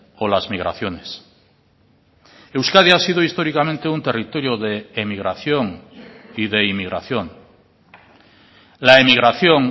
o las migraciones euskadi ha sido históricamente un territorio de emigración y de inmigración la emigración